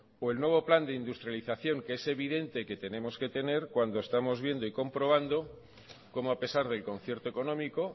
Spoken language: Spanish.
o el nuevo plan de industrialización que es evidente que tenemos que tener cuando estamos viendo y comprobando cómo a pesar del concierto económico